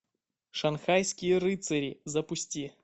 шанхайские рыцари запусти